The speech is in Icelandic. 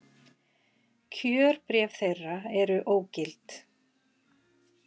Kjörbréf þeirra eru ógild